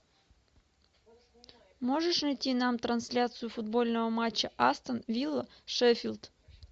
можешь найти нам трансляцию футбольного матча астон вилла шеффилд